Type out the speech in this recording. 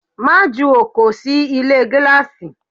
Má jù ọkọ sì ilé gíláàsì!